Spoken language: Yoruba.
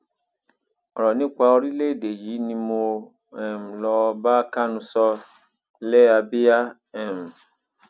ọrọ nípa orílẹèdè yìí ni mo um lọọ bá kánú sọ lẹàbíà um